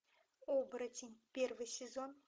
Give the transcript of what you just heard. оборотень первый сезон